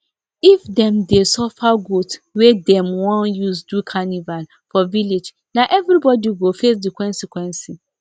if dem dey suffer goat wey dem won use do carnival for village na everybody go face the consequence